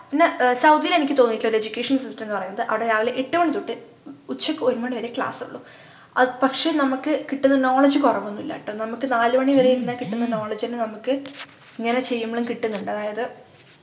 ന്നെ ഏർ സൗദിയിൽ എനിക്ക് തോന്നിട്ടുള്ളത് educational system ന്നു പറയുന്നത് ആട രാവിലെ എട്ടുമണി തൊട്ട് ഉച്ചക്കൊരുമണിവരെ class ഉള്ളു ആഹ് പക്ഷെ നമ്മക്ക് കിട്ടുന്ന knowledge കൊറവൊന്നുമില്ലട്ടോ നമ്മക്ക് നാലു മണി വരെ ഇരുന്നാ കിട്ടുന്ന knowledge ന്നെ നമ്മക്ക് ഇങ്ങനെ ചെയ്യുമ്പളും കിട്ടുന്നുണ്ട് അതായത്